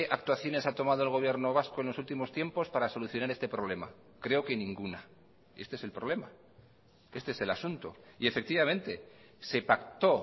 actuaciones ha tomado el gobierno vasco en los últimos tiempos para solucionar este problema creo que ninguna este es el problema este es el asunto y efectivamente se pactó